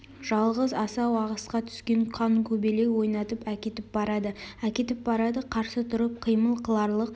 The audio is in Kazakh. жалғыз асау ағысқа түскен қанкөбелек ойнатып әкетіп барады әкетіп барады қарсы тұрып қимыл қыларлық